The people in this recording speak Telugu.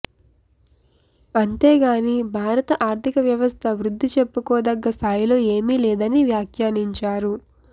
అంతేగాని భారత ఆర్థిక వ్యవస్థ వృద్ధి చెప్పుకోదగ్గ స్థాయిలో ఏమీ లేదని వ్యాఖ్యానించారు